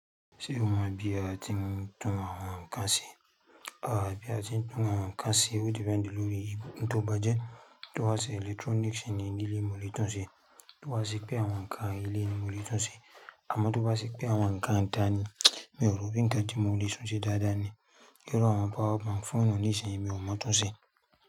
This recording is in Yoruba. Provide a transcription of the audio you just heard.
Ṣé ọmọ bí a ti ń tún àwọn nǹkan ṣe? Àá, bí a ti ń tún àwọn nǹkan ṣe ó depend lórí oun tò bá jẹ́. Tó bá jẹ́ electronics ni ní ilé mo lè tún ṣe, tó bá jẹ́ pé àwọn nǹkan ilé ni mo lè tún ṣe. Àmọ́ tó bá jẹ́ pé àwọn nǹkan ìta ni, mi ò rò bí nǹkan tí mo lè tún ṣe dáadáa ni. Iru àwọn power bank foonu nísìnyí mi ò mọ tún ṣe.